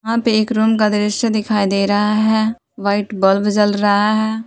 यहाँ पे एक रूम का दृश्य दिखाई दे रहा है व्हाइट बल्ब जल रहा है।